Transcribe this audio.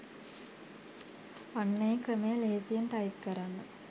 අන්න ඒ "ක්‍රමය" ලෙහෙසියෙන් ටයිප් කරන්න